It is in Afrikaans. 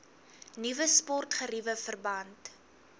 nuwe sportgeriewe verband